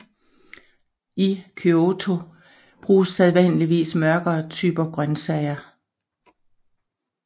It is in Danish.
I Kyoto bruges sædvanligvis mørkere typer grøntsager